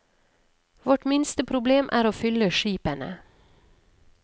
Vårt minste problem er å fylle skipene.